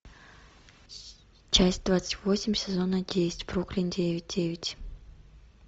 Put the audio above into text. часть двадцать восемь сезона десять бруклин девять девять